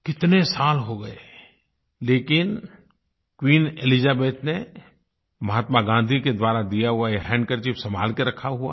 कितने साल हो गए लेकिन क्वीन एलिजाबेथ ने महात्मा गाँधी के द्वारा दिया हुआ ये हैंडकरचीफ संभाल के रखा हुआ है